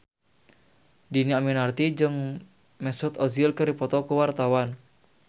Dhini Aminarti jeung Mesut Ozil keur dipoto ku wartawan